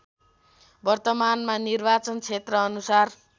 वर्तमानमा निर्वाचन क्षेत्रानुसार